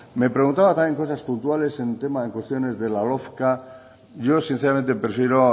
me preguntaba también cosas puntuales en tema de cohesiones de la yo sinceramente prefiero